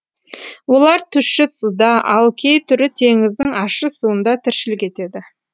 олар тұщы суда ал кей түрі теңіздің ащы суында тіршілік етеді